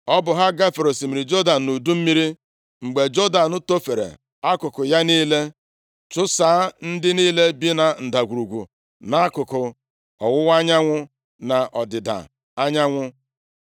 Ọ bụ ha gafere osimiri Jọdan nʼudu mmiri, mgbe Jọdan tofere akụkụ ya niile, chụsaa ndị niile bi na ndagwurugwu, nʼakụkụ ọwụwa anyanwụ na ọdịda anyanwụ.